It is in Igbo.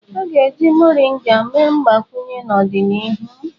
A ga-eji Moringa mee mgbakwunye n'ọdịnihu.